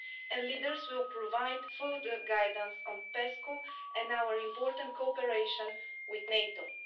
and leaders will provide further guidance on PESCO and our important cooperation with NATO.